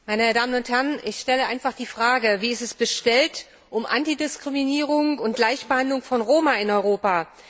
Frau Präsidentin, meine Damen und Herren! Ich stelle einfach die Frage Wie ist es bestellt um Antidiskriminierung und Gleichbehandlung von Roma in Europa?